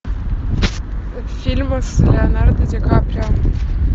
фильмы с леонардо ди каприо